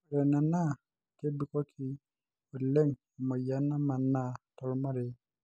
ore ena naa kebikoki olen e moyian namanaa tolmarei